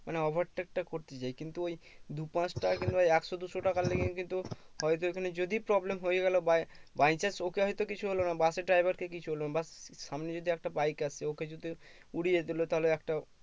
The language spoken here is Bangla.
মানে ovetake টা করতে যায় কিন্তু ওই দু পাঁচ টাকা কিন্তু ওই একশো দুশো টাকা লেগে কিন্তু হয়তো ওখানে যদি problem হয়ে গেলো by by chance ওকে হয়তো কিছু হলো না bus এর driver কে কিছু হলো বা সামনে যদি একটা bike আসে ওকে যদি উড়িয়ে তোলে তাহলে একটা